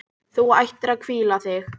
Þú ættir að hvíla þig.